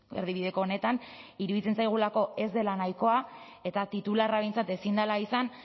erdibideko honetan iruditzen zaigulako ez dela nahikoa eta titularra behintzat ezin dela izan